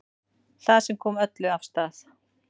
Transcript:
Það sem kom öllu af stað